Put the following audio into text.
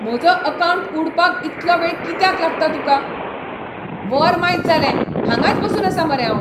म्हजो अकावंट उडपाक इतलो वेळ कित्याक लागता तुकां ? वर मायज जालें, हांगाच बसून आसा मरे हांव!